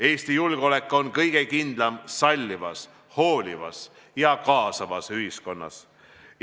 Eesti julgeolek on kõige kindlam sallivas, hoolivas ja kaasavas ühiskonnas.